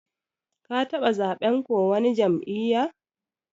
Ka taba zaɓen ko wani jam'iyya?